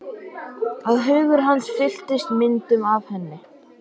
Að hugur hans fylltist myndum af henni.